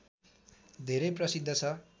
धेरै प्रसिद्ध छ